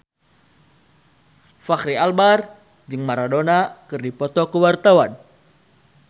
Fachri Albar jeung Maradona keur dipoto ku wartawan